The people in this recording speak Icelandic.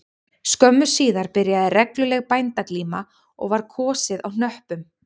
Skömmu síðar byrjaði regluleg bændaglíma og var kosið á hnöppum